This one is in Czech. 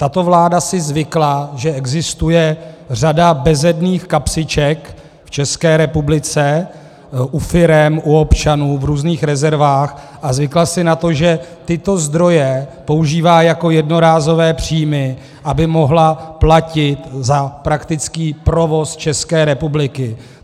Tato vláda si zvykla, že existuje řada bezedných kapsiček v České republice, u firem, u občanů, v různých rezervách, a zvykla si na to, že tyto zdroje používá jako jednorázové příjmy, aby mohla platit za praktický provoz České republiky.